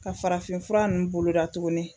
Ka farafinfura ninnu boloda tuguni